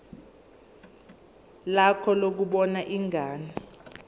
lakho lokubona ingane